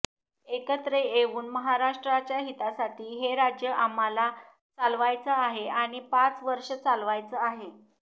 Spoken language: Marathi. एकत्र येऊन महाराष्ट्राच्या हितासाठी हे राज्य आम्हाला चालवायचं आहे आणि पाच वर्ष चालवायचं आहे